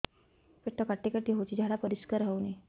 ପେଟ କାଟି କାଟି ହଉଚି ଝାଡା ପରିସ୍କାର ହଉନି